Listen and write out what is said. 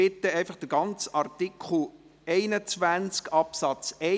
, c, d und 1a zu sprechen.